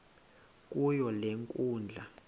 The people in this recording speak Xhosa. kuyo le nkundla